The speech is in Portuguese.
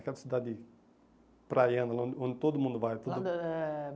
Aquela cidade praiana, lá onde onde todo mundo vai.